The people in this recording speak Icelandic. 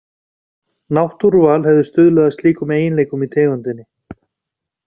Náttúruval hefði stuðlað að slíkum eiginleikum í tegundinni.